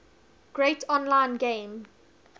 create online game